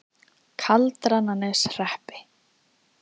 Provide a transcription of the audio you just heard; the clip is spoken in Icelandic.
Kaldrananeshreppi